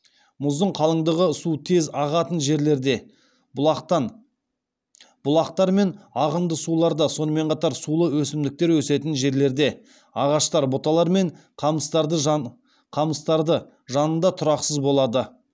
мұздың қалыңдығы су тез ағатын жерлерде бұлақтар мен ағынды суларда сонымен қатар сулы өсімдіктер өсетін жерлерде ағаштар бұталар мен қамыстарды жанында тұрақсыз болады